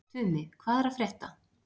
Tumi, hvað er að frétta?